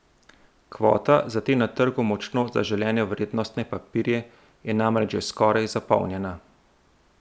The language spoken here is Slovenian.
Kvota za te na trgu močno zaželene vrednostne papirje je namreč že skoraj zapolnjena.